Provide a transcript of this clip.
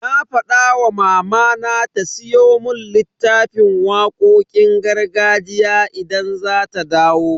Na fada wa mamana ta siyo mun littafin waƙoƙin gargajiya idan za ta dawo.